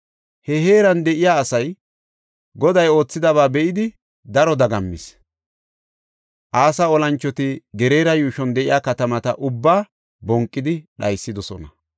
He heeran de7iya asay Goday oothidaba be7idi daro dagammis. Asa olanchoti Geraara yuushuwan de7iya katamata ubbaa bonqidi dhaysidosona.